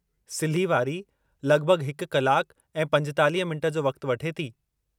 सिल्ही वारी लगि॒भगि॒ हिकु कलाक ऐं 45 मिंट जो वक़्ति वठे थी।